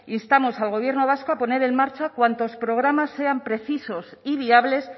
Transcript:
instamos al gobierno vasco a poner en marcha cuantos programas sean precisos y viables